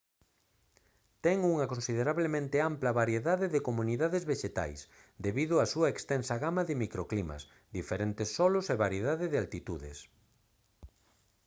ten unha considerablemente ampla variedade de comunidades vexetais debido á súa extensa gama de microclimas diferentes solos e variedade de altitudes